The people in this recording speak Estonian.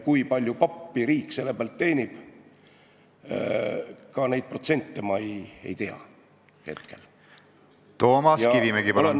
Kui palju pappi riik selle pealt teenib, ka neid protsente ma hetkel ei tea.